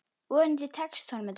Vonandi tekst honum þetta.